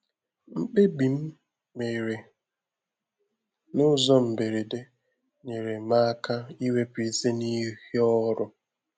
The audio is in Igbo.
Mkpebi m mèrè n’ụzọ mberede nyere m aka iwepụ isi n’ihe ọrụ